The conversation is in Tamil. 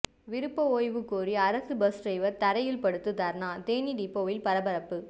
விருப்ப ஓய்வு கோரி அரசு பஸ் டிரைவர் தரையில் படுத்து தர்ணா தேனி டிப்போவில் பரபரப்பு